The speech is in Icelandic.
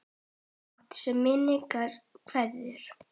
Fátt, sem minning vekur.